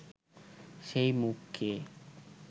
সেই মুখকে